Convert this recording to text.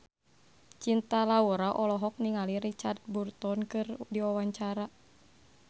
Cinta Laura olohok ningali Richard Burton keur diwawancara